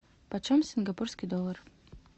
почем сингапурский доллар